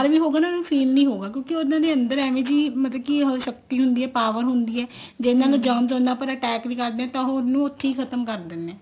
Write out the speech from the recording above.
ਹੋਵੇ ਣ ਏਵੇਂ feel ਨੀ ਹੋਊਗਾ ਕਿਉਂਕਿ ਉਹਦੇ ਅੰਦਰ ਏਵੇਂ ਦੀ ਮਤਲਬ ਕੇ ਉਹ ਸ਼ਕਤੀ ਹੁੰਦੀ ਹੈ power ਹੁੰਦੀ ਜਿਹਨਾ ਨੂੰ germs ਨਾਲ ਭਰਿਆ attack ਵੀ ਕਰਦੇ ਤਾਂ ਉਹ ਉਹਨੂੰ ਉੱਥੀ ਖਤਮ ਕਰ ਦਿੰਦੇ ਆ